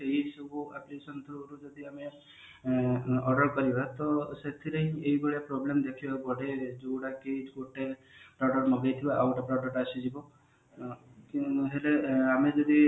ସେଇ ସବୁ application ରୁ ଯଦି ଆମେ order କରିବା ତ ସେଥିରେ ଏଇ ଭଳିଆ problem ଦେଖିବାକୁ ହୁଏ ଯୋଉଟା କି ଗୋଟେ product ମଗେଇଥିବ ଆଉ ଗୋଟେ product ଆସିଯିବ ସେଟ ଆମେ ଯଦି